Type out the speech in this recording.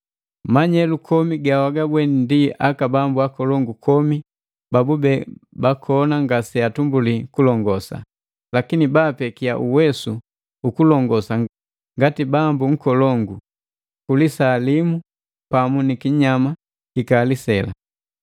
“Manyelu komi gawagabweni ndi aka bambu akolongu kumi babube bakona ngase atumbuli kulongosa. Lakini baapekiya uwesu uku kulongosa ngati bambu nkolongu ku lisaa limu pamu ni kinyama kikali sela.